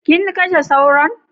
Kin kashe Sauron?